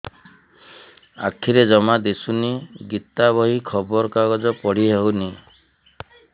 ଆଖିରେ ଜମା ଦୁଶୁନି ଗୀତା ବହି ଖବର କାଗଜ ପଢି ହଉନି